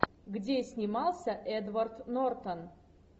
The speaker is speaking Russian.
где снимался эдвард нортон